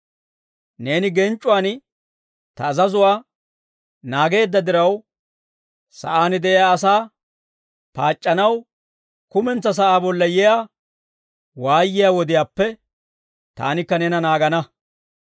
Neeni genc'c'uwaan ta azazuwaa naageedda diraw, sa'aan de'iyaa asaa paac'c'anaw kumentsaa sa'aa bolla yiyaa waayiyaa wodiyaappe taanikka neena naagana.